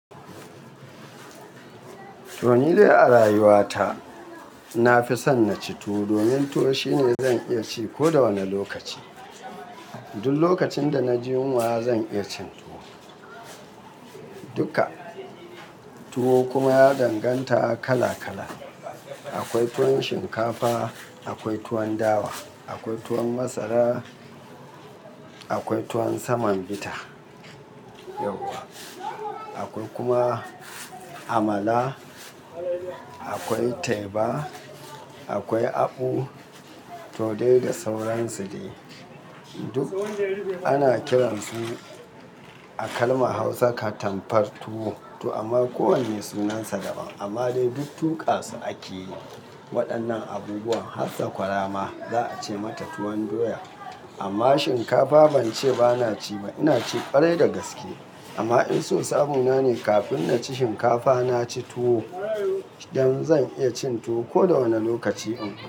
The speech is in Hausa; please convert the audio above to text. To ni dai a rayuwa ta na fi son na ci tuwo domin tuwo shine zan iya ci ko da wane lokaci. Duk lokacin da na ji yunwa zan iya cin tuwo. Duka. Tuwo kuma ya danganta kala kala. Akwai tuwon shinkafa, akwai tuwon dawa, akwai tuwon masara, akwai tuwon saman gita, akwai kuma amala, akwai teba, akwai abu, to dai da sauran su dai duk ana kiran su a kalmar Hausa katambar tuwo. To amma ko wanne sunansa daban amma dai duk tuƙa su ake yi waɗannan abubuwan har da kwarama za a ce mata tuwon doya. Amma shinkafa ban ce bana ci ba, ina ci ƙarai da gaske. Amma in so sabo na ne kafin na ci shinkafa na ci tuwo idan zan iya cin tuwo ko da wane lokaci in fa.